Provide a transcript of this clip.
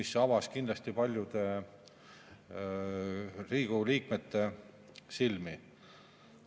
See avas kindlasti paljude Riigikogu liikmete silmi.